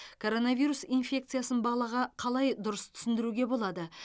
коронавирус инфекциясын балаға қалай дұрыс түсіндіруге болады